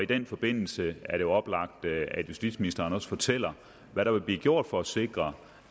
den forbindelse er det jo oplagt at justitsministeren også fortæller hvad der vil blive gjort for at sikre